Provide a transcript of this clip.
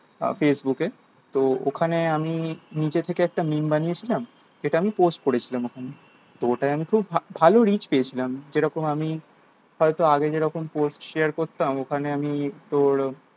facebook এ তো ওখানে আমি নিজে থেকে একটা memes বানিয়েছিলাম যেটা আমি post করেছিলাম ওখানে তো ওটায় আমি খুব ভালো reach পেয়েছিলাম যেরকম আমি হয়তো আগে যেরকম post share করতাম ওখানে আমি তোর